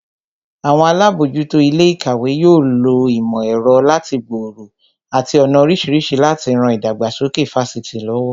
Àwọn alábòójútó ilé ìkàwé yóò lo ìmò ẹ̀rọ láti gbòòrò àti ọ̀nà oríṣiríṣi láti ran ìdàgbàsókè Fásitì lọ́wọ́